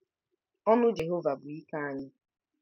Ọṅụ Jehova bụ ike anyị.